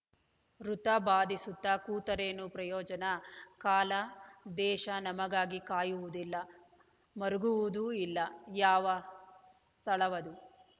ವೃಥಾ ಬಾಧಿಸುತ್ತ ಕೂತರೇನು ಪ್ರಯೋಜನ ಕಾಲ ದೇಶ ನಮಗಾಗಿ ಕಾಯುವುದಿಲ್ಲ ಮರುಗುವುದೂ ಇಲ್ಲ ಯಾವ ಸ್ಥಳವದು